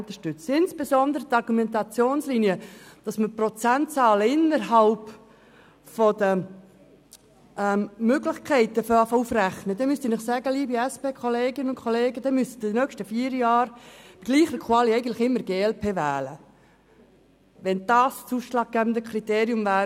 Zur Argumentationslinie, wonach man Prozentzahlen innerhalb der Möglichkeiten aufzurechnen beginnt: Liebe SP-Kolleginnen und -Kollegen, dann müsste man in den nächsten vier Jahren bei gleicher Qualifikation eigentlich immer glp wählen – wenn das das ausschlaggebende Kriterien wäre.